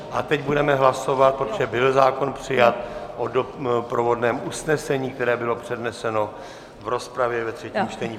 A teď budeme hlasovat, protože byl zákon přijat, o doprovodném usnesení, které bylo předneseno v rozpravě ve třetím čtení.